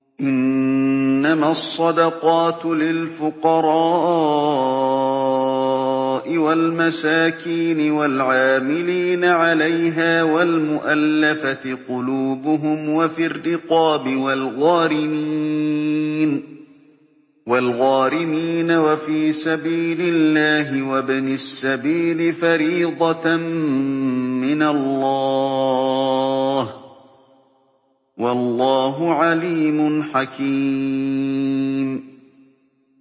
۞ إِنَّمَا الصَّدَقَاتُ لِلْفُقَرَاءِ وَالْمَسَاكِينِ وَالْعَامِلِينَ عَلَيْهَا وَالْمُؤَلَّفَةِ قُلُوبُهُمْ وَفِي الرِّقَابِ وَالْغَارِمِينَ وَفِي سَبِيلِ اللَّهِ وَابْنِ السَّبِيلِ ۖ فَرِيضَةً مِّنَ اللَّهِ ۗ وَاللَّهُ عَلِيمٌ حَكِيمٌ